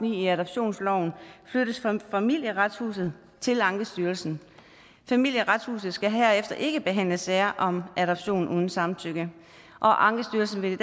i adoptionsloven flyttes fra familieretshuset til ankestyrelsen familieretshuset skal herefter ikke behandle sager om adoption uden samtykke og ankestyrelsen vil